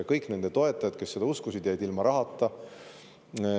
Kõik nende toetajad, kes neid uskusid, jäid ilma rahata.